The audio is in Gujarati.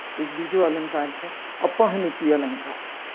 એક બીજો અલંકાર છે. અપ્રવુંતરી અલંકાર